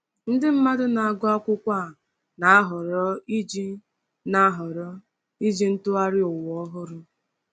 Nde mmadụ na-agụ akwụkwọ a na-ahọrọ iji na-ahọrọ iji Ntụgharị Ụwa Ọhụrụ.